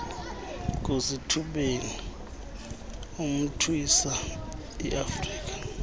ngusithubeni imntwisa iafrika